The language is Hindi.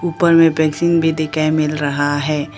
ऊपर में पेंसिन भी दिखाई मिल रहा है।